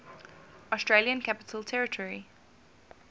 australian capital territory